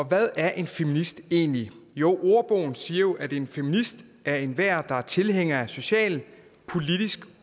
hvad er en feminist egentlig jo ordbogen siger at en feminist er enhver der er tilhænger af social politisk